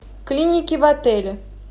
клиники в отеле